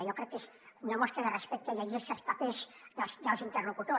jo crec que és una mostra de respecte llegir se els papers dels interlocutors